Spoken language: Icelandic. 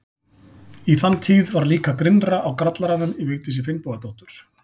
Í þann tíð var líka grynnra á grallaranum í Vigdísi Finnbogadóttur.